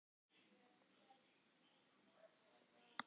Hann bruddi bara kandísinn.